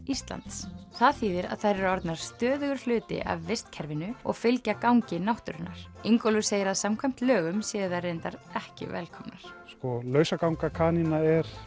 Íslands það þýðir að þær eru orðnar stöðugur hluti af vistkerfinu og fylgja gangi náttúrunnar Ingólfur segir að samkvæmt lögum séu þær reyndar ekki velkomnar sko lausaganga kanína